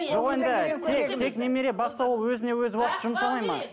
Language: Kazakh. жоқ енді тек немере бақса ол өзіне өзі уақыт жұмсамайды ма